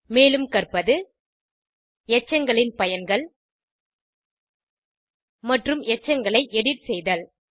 மேலும் கற்பது எச்சங்களின் பயன்கள் மற்றும் எச்சங்களை எடிட் செய்தல்